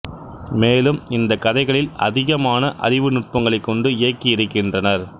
மேலும் இந்தக் கதைகளில் அதிகமான அறிவு நுட்பங்களைக் கொண்டு இயக்கி இருக்கின்றனர்